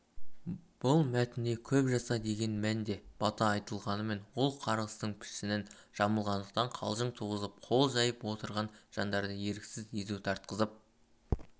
бұл мәтінде көп жаса деген мәнде бата айтылғанымен ол қарғыстың пішінін жамылғандықтан қалжың туғызып қол жайып отырған жандарды еріксіз езу тартқызып